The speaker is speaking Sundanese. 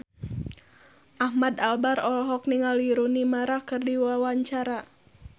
Ahmad Albar olohok ningali Rooney Mara keur diwawancara